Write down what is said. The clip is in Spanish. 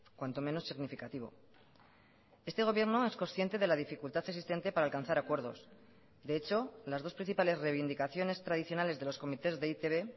cuanto menos significativo este gobierno es consciente de la dificultad existente para alcanzar acuerdos de hecho las dos principales reivindicaciones tradicionales de los comités de e i te be